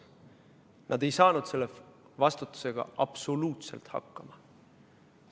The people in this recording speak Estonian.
Nad ei saanud selle vastutusega absoluutselt hakkama.